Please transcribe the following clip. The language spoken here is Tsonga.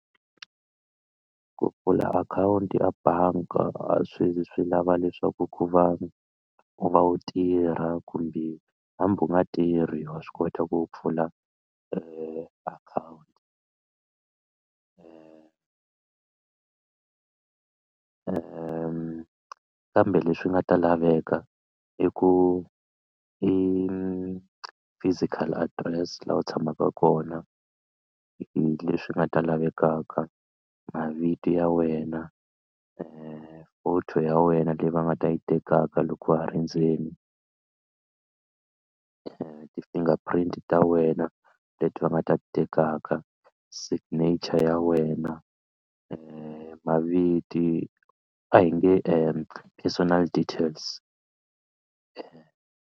Ku pfula akhawunti ya bangi a swi zi swi lava leswaku ku va u va u tirha kumbe hambi u nga tirhi wa swi kota ku pfula akhawunti kambe leswi nga ta laveka i ku i physical address laha u tshamaka kona leswi nga ta lavekaka mavito ya wena photo ya wena leyi va nga ta yi tekaka loko wa ha ri ndzeni ti-finger print ta wena leti va nga ti tekaka signature ya wena maviti a hi nge personal details.